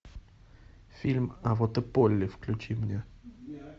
фильм а вот и полли включи мне